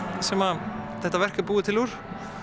sem þetta verk er búið til úr